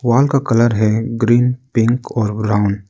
wall का colour है green pink और ब्राउन --